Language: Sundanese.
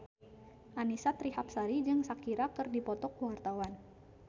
Annisa Trihapsari jeung Shakira keur dipoto ku wartawan